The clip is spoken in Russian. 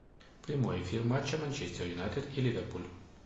прямой эфир матча манчестер юнайтед и ливерпуль